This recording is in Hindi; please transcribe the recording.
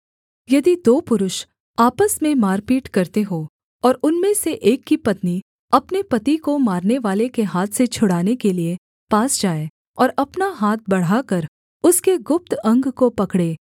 यदि दो पुरुष आपस में मारपीट करते हों और उनमें से एक की पत्नी अपने पति को मारनेवाले के हाथ से छुड़ाने के लिये पास जाए और अपना हाथ बढ़ाकर उसके गुप्त अंग को पकड़े